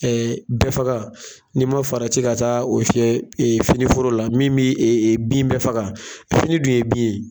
bɛɛfaga n'i man farati ka taa o fiyɛ fini foro la min bɛ bin bɛɛ faga fini dun ye bin ye.